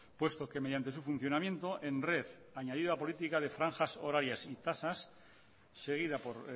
puesto que mediante su funcionamiento en red añadida a política de franjas horarias y tasas seguida por